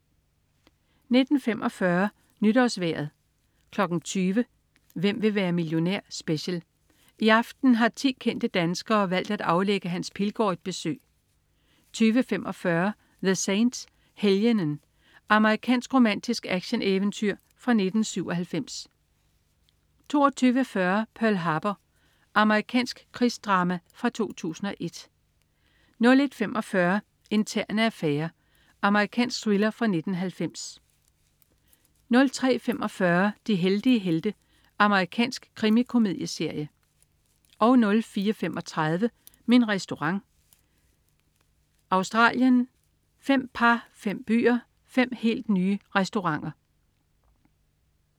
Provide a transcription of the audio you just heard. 19.45 NytårsVejret 20.00 Hvem vil være millionær? Special. I aften har 10 kendte danskere valgt at aflægge Hans Pilgaard et besøg 20.45 The Saint, Helgenen. Amerikansk romantisk actioneventyr fra 1997 22.40 Pearl Harbor. Amerikansk krigsdrama fra 2001 01.45 Interne affærer. Amerikansk thriller fra 1990 03.45 De heldige helte. Amerikansk krimikomedieserie 04.35 Min Restaurant. Australien. Fem par, fem byer, fem helt nye restauranter